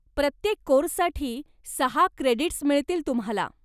प्रत्येक कोर्ससाठी सहा क्रेडीट्स मिळतील तुम्हाला.